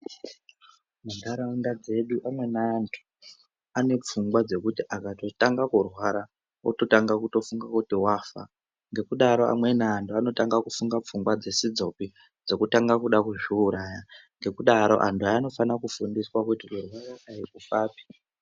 Nharaunda dzedu amweni antu anepfungwa dzekuti akatotanga kurwara ototanga kutofunga kuti wafa. Ngekudaro amweni antu anotanga kufunga pfungwa dzisidzopi dzekutanga kuda kuzviuraya. Ngekudaro antu anofana kufundiswa kuti kurwara aikufapi.